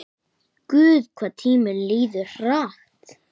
Guð, hvað tíminn líður hratt.